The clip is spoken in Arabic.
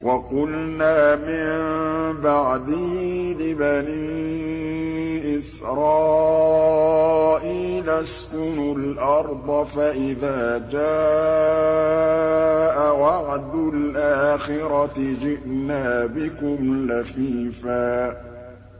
وَقُلْنَا مِن بَعْدِهِ لِبَنِي إِسْرَائِيلَ اسْكُنُوا الْأَرْضَ فَإِذَا جَاءَ وَعْدُ الْآخِرَةِ جِئْنَا بِكُمْ لَفِيفًا